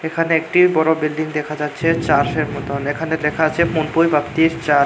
এখানে একটি বড়ো বিল্ডিং দেখা যাচ্ছে চাষের মতন এখানে লেখা আছে মূনপুই চা--